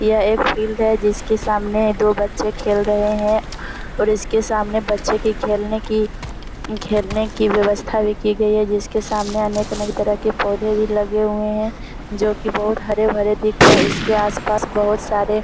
यह एक फील्ड है जिसके सामने दो बच्चे खेल रहे हैं और इसके सामने बच्चे के खेलने की खेलने की व्यवस्था भी की गई है जिसके सामने अनेक-अनेक तरह के पोधे भी लगे हुए है जो कि बहुत हरे-भरे दिख रहे है। इसके आस-पास बहुत सारे --